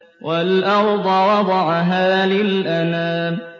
وَالْأَرْضَ وَضَعَهَا لِلْأَنَامِ